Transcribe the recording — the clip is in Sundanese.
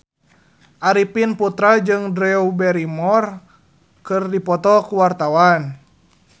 Arifin Putra jeung Drew Barrymore keur dipoto ku wartawan